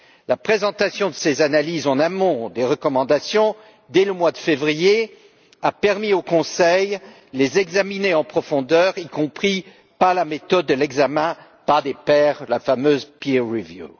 La présentation de ces analyses en amont des recommandations, dès le mois de février, a permis au Conseil de les examiner en profondeur, y compris par la méthode de l'examen par les pairs, la fameuse peer review